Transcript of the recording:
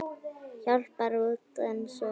Hjálpar rútan svona mikið?